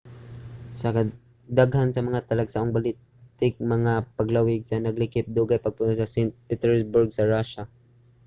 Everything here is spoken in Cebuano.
kadaghanan sa mga talagsaong baltic nga mga paglawig naglakip og dugay nga pagpuyo sa st. petersburg sa rusya